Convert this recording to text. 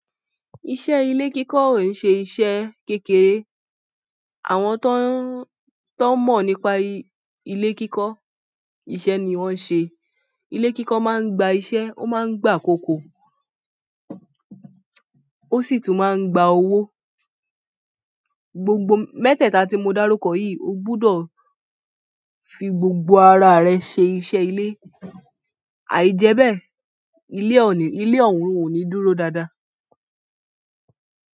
Iṣẹ́ ilé kíkọ́ ò yi ṣe iṣẹ́ kékeré. Àwọn tó ń mọ̀ nípa ilé kíkọ́, iṣẹ́ ni wón ń ṣe. Ilé kíkọ́ máa ń gba iṣẹ́, ó máa ń gba akoko, ó sì tún máa ń gba owó. Gbogbo mẹ́tẹ̀ẹ̀ta tí mo dárúkọ yìí, o gbọdọ̀ fi gbogbo ara rẹ ṣe iṣẹ́ ilé. Aijebe ile oun o ni dúró dada.